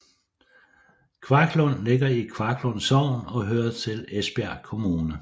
Kvaglund ligger i Kvaglund Sogn og hører til Esbjerg Kommune